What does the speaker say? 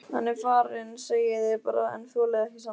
Hann er farinn segið þið bara en þolið ekki sannleikann.